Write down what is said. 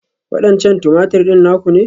Waɗancan Tumatir ɗin naku ne?